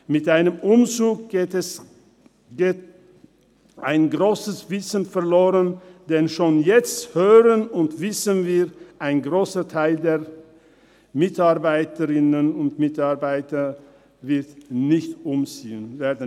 Mit einem Umzug geht ein grosses Wissen verloren, denn schon jetzt hören und wissen wir, dass ein grosser Teil der Mitarbeiterinnen und Mitarbeiter nicht umziehen wird.